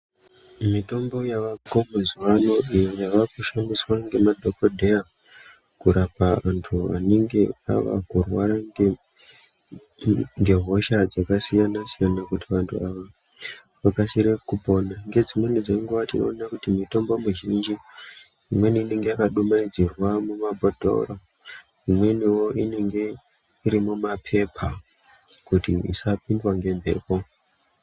Mitombo yavako mazuwaano iyo yava kushandiswa nemadhokodheya kurapa vanthu vanenge vava kurwara ngehosha dzakasiyana siyana kuti vanthu ava vakasire kupora ngedzimweni dzenguwa tinoona kuti mitombo mizhinji imweni inenge yakadumaidzwa mumabhodhoro imweni inenge yakadumaidzirwa mumapepa kuti isapindwa ngemhepo.